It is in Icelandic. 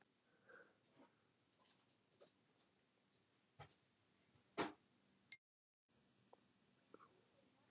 Honum gott af verði.